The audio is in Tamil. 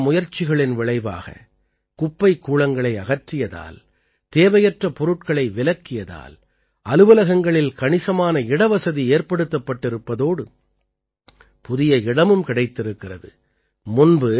தொடர்ந்து இந்த முயற்சிகளின் விளைவாக குப்பைக்கூளங்களை அகற்றியதால் தேவையற்ற பொருட்களை விலக்கியதால் அலுவலகங்களில் கணிசமான இடவசதி ஏற்படுத்தப்பட்டிருப்பதோடு புதிய இடமும் கிடைத்திருக்கிறது